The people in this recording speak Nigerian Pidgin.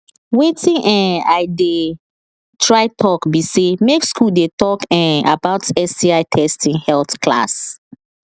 watin um i they try talk be say make school they talk um about sti testing health class